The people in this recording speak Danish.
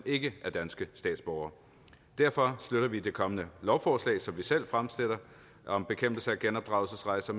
ikke er danske statsborgere derfor støtter vi det kommende lovforslag som vi selv fremsætter om bekæmpelse af genopdragelsesrejser